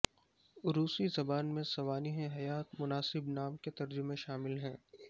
روسی زبان میں سوانح حیات مناسب نام کے ترجمے شامل ہے